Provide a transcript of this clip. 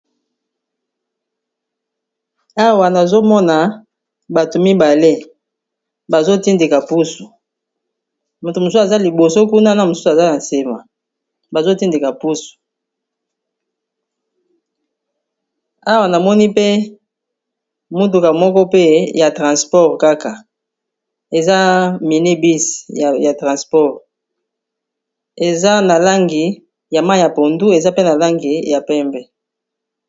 Awa nazomona bato mibale bazotindika pusu, moto mosus aza liboso kuna na mosusu aza na nsima bazotindika pusu awa namoni pe muduka moko pe ya transport kaka eza mine bis ya transport eza na langi ya ma ya pondu, eza pe na langi ya pembe.